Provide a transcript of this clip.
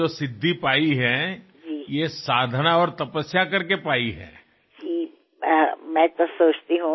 మీరు సాధించిన సాఫల్యాలు ఎంతో సాధన వల్ల తపస్సు వల్ల లభిస్తాయి